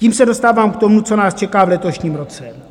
Tím se dostávám k tomu, co nás čeká v letošním roce.